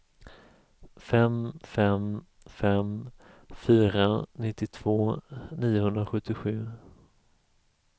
fem fem fem fyra nittiotvå niohundrasjuttiosju